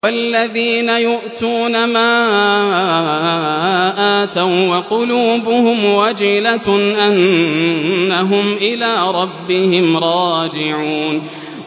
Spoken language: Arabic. وَالَّذِينَ يُؤْتُونَ مَا آتَوا وَّقُلُوبُهُمْ وَجِلَةٌ أَنَّهُمْ إِلَىٰ رَبِّهِمْ رَاجِعُونَ